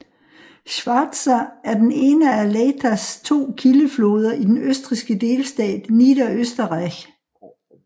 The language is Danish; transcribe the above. Schwarza er den ene af Leithas to kildefloder i den østrigske delstat Niederösterreich